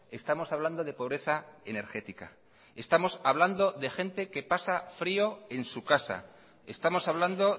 estamos hablando de pobreza energética estamos hablando de gente que pasa frio en su casa estamos hablando